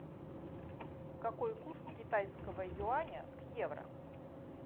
какой курс китайского юаня к евро